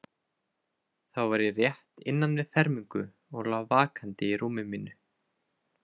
Þá var ég rétt innan við fermingu og lá vakandi í rúmi mínu.